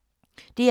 DR K